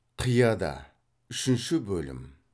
қияда үшінші бөлім